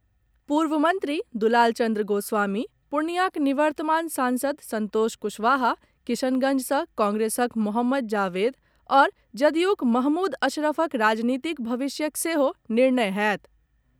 पूर्व मंत्री दुलालचंद्र गोस्वामी, पूर्णियॉक निवर्तमान सांसद संतोष कुशवाहा किशनगंज सॅ कांग्रेसक मोहम्मद जावेद आओर जदयूक महमूद अशरफक राजनीतिक भविष्यक सेहो निर्णय होयत।